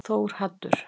Þórhaddur